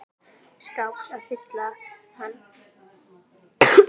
skáps að fylla hann.